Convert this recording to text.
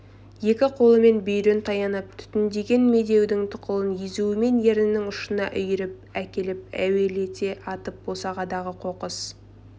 екі қолымен бүйірін таянып түтіндеген медеудің тұқылын езуімен еріннің ұшына үйіріп әкеліп әуелете атып босағадағы қоқыс